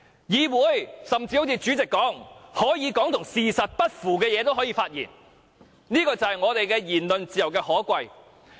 正如主席所說，議員所說的話可以不是事實，這就是言論自由的可貴。